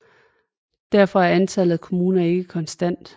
Derfor er antallet af kommuner ikke konstant